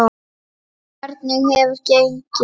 Hvernig hefur gengið?